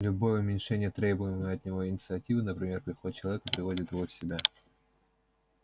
любое уменьшение требуемой от него инициативы например приходит человек и приводит его в себя